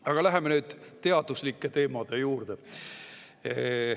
Aga läheme nüüd teaduslike teemade juurde.